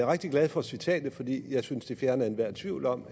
rigtig glad for citatet fordi jeg synes det fjerner enhver tvivl om